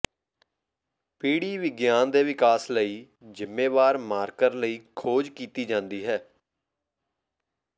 ਪੀੜੀ ਵਿਗਿਆਨ ਦੇ ਵਿਕਾਸ ਲਈ ਜ਼ਿੰਮੇਵਾਰ ਮਾਰਕਰ ਲਈ ਖੋਜ ਕੀਤੀ ਜਾਂਦੀ ਹੈ